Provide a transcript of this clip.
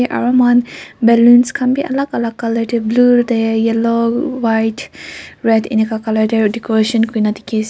aru moikhan balloons khan b alak alak color de blue de yellow white red eneka color de decoration kuri na dikhi ase.